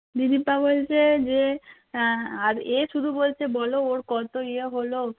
বিদিশা বলছে যে আহ আর এ শুধু বলছে বল ওর কত ইয়ে হলো